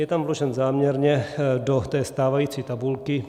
Je tam vložen záměrně do té stávající tabulky.